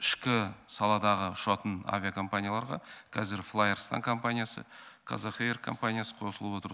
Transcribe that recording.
ішкі саладағы ұшатын авиакомпанияларға қазір флайарыстан компаниясы қазақэйр компаниясы қосылып отыр